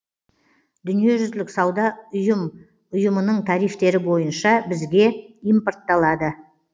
дүниежүзілік сауда ұйым ұйымының тарифтері бойынша бізге импортталады